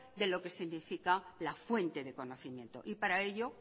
de lo que significa la fuente de conocimiento y para ello